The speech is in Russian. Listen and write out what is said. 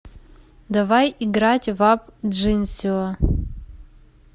давай играть в апп джинсио